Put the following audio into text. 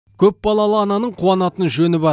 көп балалы ананың куанатын жөні бар